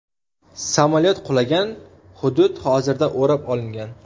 Samolyot qulagan hudud hozirda o‘rab olingan.